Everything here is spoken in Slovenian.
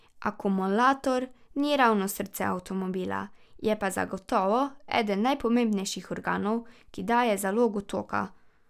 Akumulator ni ravno srce avtomobila, je pa zagotovo eden najpomembnejših organov, ki daje zalogo toka.